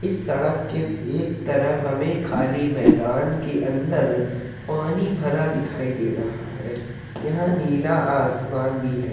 इस सड़क के एक तरफ हमें खाली मैदान के अंदर पानी भरा दिखाई दे रहा है। यह नीला आसमान भी है।